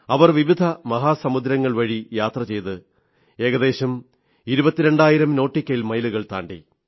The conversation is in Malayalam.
അവർ വിവിധ മഹാസമുദ്രങ്ങളും പല സമുദ്രങ്ങളും വഴി യാത്ര ചെയ്ത് ഏകദേശം ഇരുപത്തിരണ്ടായിരം നോട്ടിക്കൽ മൈലുകൾ താണ്ടി